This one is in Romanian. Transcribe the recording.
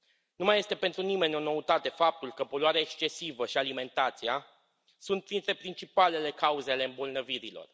Nu mai este pentru nimeni o noutate faptul că poluarea excesivă și alimentația sunt printre principalele cauzele ale îmbolnăvirilor.